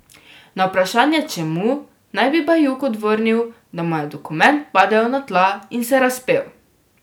Na vprašanje, čemu, naj bi Bajuk odvrnil, da mu je dokument padel na tla in se razpel.